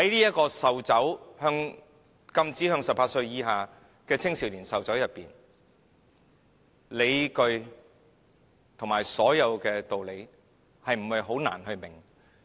有關禁止向18歲以下青少年售酒的理據及所有道理，不是很難明白。